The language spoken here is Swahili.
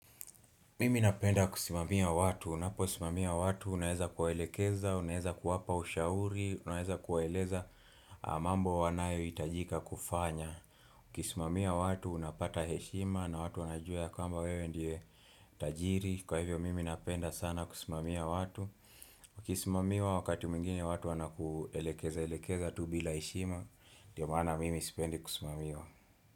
Mimi napenda kusimamia watu, unaposimamia watu unaweza kuwaelekeza, unaweza kuwapa ushauri, unaweza kuwaeleza mambo wanayohitajika kufanya Ukisimamia watu unapata heshima na watu wanajua ya kwamba wewe ndiye tajiri, kwa hivyo mimi napenda sana kusimamia watu Ukisimamiwa wakati mwingine watu wanakuelekezaelekeza tu bila heshima, ndio maana mimi sipendi kusimamiwa.